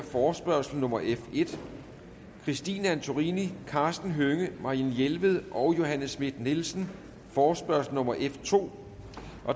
forespørgsel nummer f en christine antorini karsten hønge marianne jelved og johanne schmidt nielsen forespørgsel nummer f to